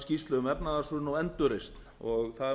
er alveg eins og þessir blessaðir